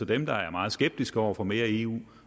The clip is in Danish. dem der er meget skeptiske over for mere eu